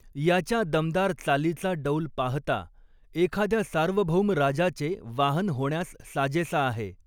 याच्या दमदार चालीचा डौल पाहता, एखाद्या सार्वभौम राजाचे वाहन होण्यास साजेसा आहे!